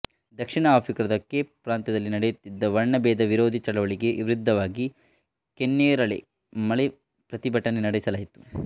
ದಕ್ಷಿಣ ಆಫ್ರಿಕಾದ ಕೇಪ್ ಪ್ರಾಂತದಲ್ಲಿ ನಡೆಯುತ್ತಿದ್ದ ವರ್ಣಭೇದ ವಿರೋಧಿ ಚಳವಳಿಗೆ ವಿರುದ್ಧವಾಗಿ ಕೆನ್ನೇರಳೆ ಮಳೆ ಪ್ರತಿಭಟನೆ ನಡೆಸಲಾಯಿತು